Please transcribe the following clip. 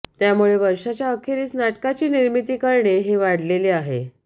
त्यामुळे वर्षाच्या अखेरीस नाटकाची निर्मिती करणे हे वाढलेले आहे